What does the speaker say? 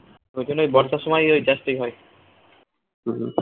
ওই জন্যেই বর্ষার সময় ওই চাষ টাই হয়